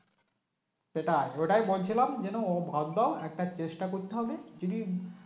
সেটাই ওটাই বলছিলাম যেন ও বাদ দাও একটা চেষ্টা করতে হবে যদি